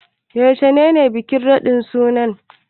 Yaushe ne bikin raɗin sunan?